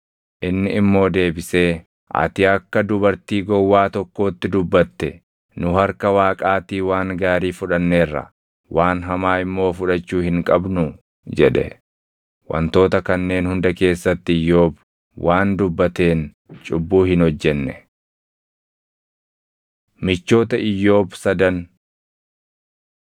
Inni immoo deebisee, “Ati akka dubartii gowwaa tokkootti dubbatte. Nu harka Waaqaatii waan gaarii fudhanneerra; waan hamaa immoo fudhachuu hin qabnuu?” jedhe. Wantoota kanneen hunda keessatti Iyyoob waan dubbateen cubbuu hin hojjenne. Michoota Iyyoob Sadan